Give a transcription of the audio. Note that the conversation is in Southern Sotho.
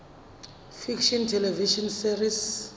fiction television series